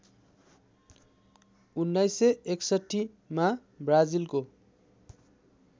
१९६१ मा ब्राजिलको